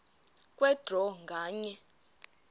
kwe draw nganye